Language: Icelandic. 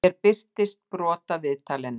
Hér birtist brot af viðtalinu.